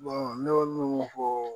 ne y'o min fɔ